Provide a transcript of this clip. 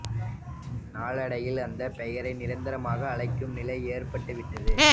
நாளடைவில் அந்த பெயரே நிரந்தரமாக அழைக்கும் நிலை ஏற்பட்டு விட்டது